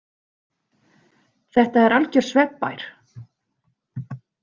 Þetta er algjör svefnbær.